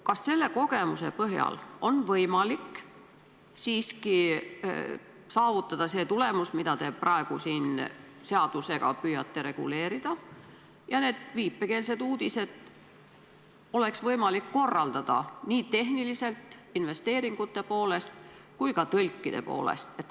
Kas selle kogemuse põhjal on võimalik siiski saavutada see tulemus, mida te praegu seadusega püüate reguleerida, ja neid viipekeelseid uudiseid oleks võimalik korraldada tehniliselt, investeeringute poolest ja ka tõlkide poolest?